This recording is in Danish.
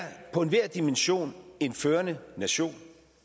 på enhver dimension en førende nation